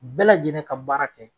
Bɛɛ lajɛlen ka baara kɛ